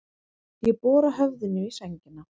Ég bora höfðinu í sængina.